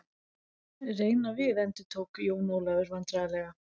Reyna við endurtók Jón Ólafur vandræðalega.